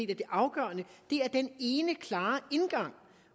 det afgørende er den ene klare indgang